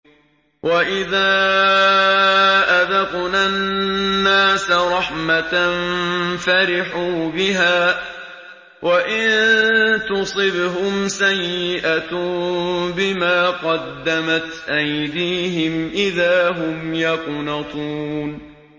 وَإِذَا أَذَقْنَا النَّاسَ رَحْمَةً فَرِحُوا بِهَا ۖ وَإِن تُصِبْهُمْ سَيِّئَةٌ بِمَا قَدَّمَتْ أَيْدِيهِمْ إِذَا هُمْ يَقْنَطُونَ